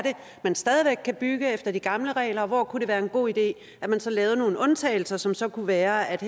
man stadig væk kan bygge efter de gamle regler og hvor det kunne være en god idé at man så lavede nogle undtagelser som så kunne være at